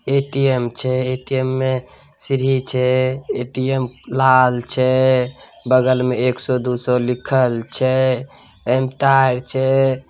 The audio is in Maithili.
ए_टी_एम छै ए_टी_एम में सीढ़ी छै ए_टी_एम लाल छै बगल मे एक सौ दू सौ लिखल छै। एमे तार छै।